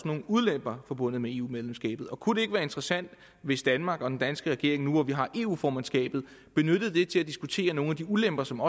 nogle ulemper forbundet med eu medlemskabet kunne det ikke være interessant hvis danmark og den danske regering nu hvor vi har eu formandskabet benyttede det til at diskutere nogle af de ulemper som